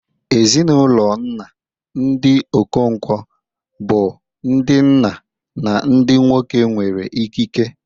Ezinụlọ nna, ndị Okonkwo, bụ ndị nna na ndị nwoke nwere ikike.